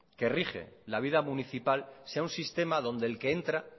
que rige la vida municipal sea un sistema donde el que entra